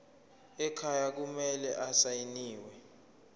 ekhaya kumele asayiniwe